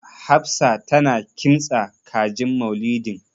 Hafsa tana kintsa kajin Maulidin.